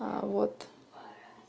а вот